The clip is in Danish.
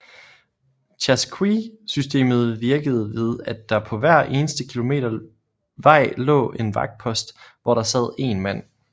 Chasqui systemet virkede ved at der på hver eneste kilometer vej lå en vagtpost hvor der sad én mand